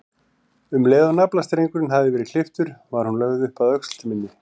Um leið og naflastrengurinn hafði verið klipptur var hún lögð upp að öxl minni.